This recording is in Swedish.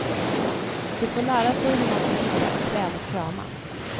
De får lära sig hur man ska hitta ett träd att krama.